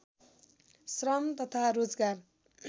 श्रम तथा रोजगार